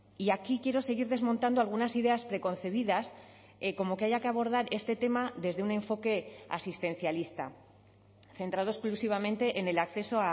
y aquí quiero seguir desmontando algunas ideas preconcebidas como que haya que abordar este tema desde un enfoque asistencialista centrado exclusivamente en el acceso